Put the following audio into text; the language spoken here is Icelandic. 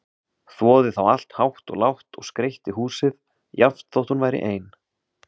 Þvoði þá allt hátt og lágt og skreytti húsið, jafnt þótt hún væri ein.